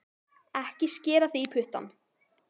Ekki skera þig í puttana